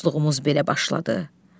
Dostluğumuz belə başladı.